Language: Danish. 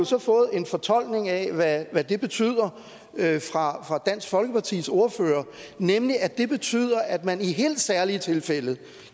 så fået en fortolkning af hvad det betyder fra dansk folkepartis ordfører nemlig at det betyder at man i helt særlige tilfælde